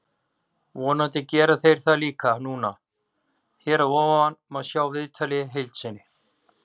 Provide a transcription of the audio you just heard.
Vonandi gera þeir það líka núna. Hér að ofan má sjá viðtalið í heild sinni.